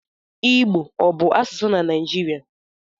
Igbo ọ bụ asụsụ na Naịjirịa?